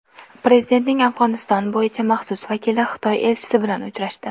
Prezidentning Afg‘oniston bo‘yicha maxsus vakili Xitoy elchisi bilan uchrashdi.